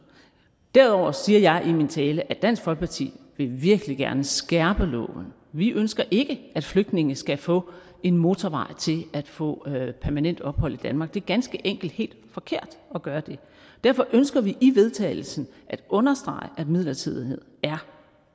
derudover siger jeg i min tale at dansk folkeparti virkelig gerne vil skærpe loven vi ønsker ikke at flygtninge skal få en motorvej til at få permanent ophold i danmark det er ganske enkelt helt forkert at gøre det derfor ønsker vi i vedtagelse at understrege at midlertidighed